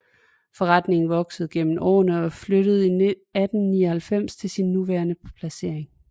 Forretningen voksede gennem årene og flyttede i 1899 til sin nuværende placering